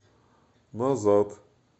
назад